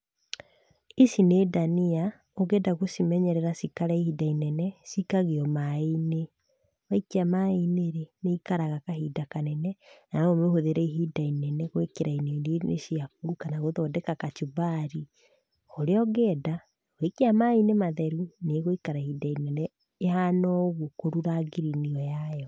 Ici nĩ ndania ũngĩenda gũcimenyerera cikare ihinda inene cikagio maaĩ-inĩ. Waikia maaĩ-inĩ nĩ ikaraga kahinda kanene na no ũmĩhuthĩre ihinda inene gũĩkĩra irio-inĩ ciaku kana gũthondeka kachumbari o ũrĩa ũngĩenda. Waikia maaĩ-inĩ matheru nĩ ĩgũikara ihinda inene ĩhana oũguo kũrura green ĩyo yayo.